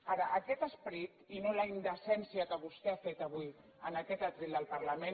ara aquest esperit i no la indecència que vostè ha fet avui en aquest faristol del parlament